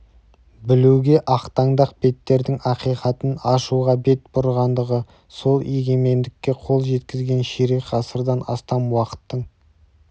білуге ақтаңдақ беттердің ақиқатын ашуға бет бұрғандығы сол егемендікке қол жеткізген ширек ғасырдан астам уақыттың